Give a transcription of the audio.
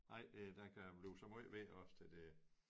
Nej det der kan blive så måj værre også til det